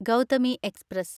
Gautami express